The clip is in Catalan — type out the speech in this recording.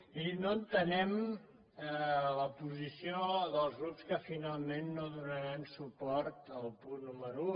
miri no entenem la posició dels grups que finalment no donaran suport al punt número un